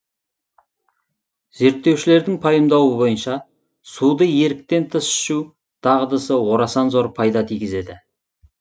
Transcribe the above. зерттеушілердің пайымдауы бойынша суды еріктен тыс ішу дағдысы орасан зор пайда тигізеді